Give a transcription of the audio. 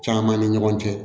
Caman ni ɲɔgɔn cɛ